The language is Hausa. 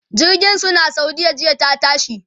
jirgin su na saudiya jiya ta tashi